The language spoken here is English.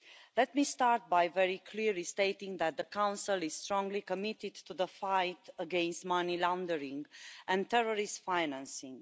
Let me start by very clearly stating that the Council is strongly committed to the fight against money laundering and terrorist financing.